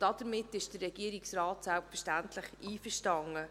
Damit ist der Regierungsrat selbstverständlich einverstanden.